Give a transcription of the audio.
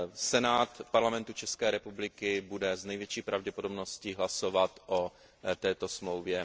Senát Parlamentu České republiky bude s největší pravděpodobností hlasovat o této Smlouvě